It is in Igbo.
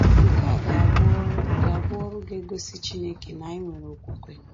Nke a ga-abụ ọrụ ga-abụ ọrụ ga-egosi Chineke na anyị nwere okwukwe.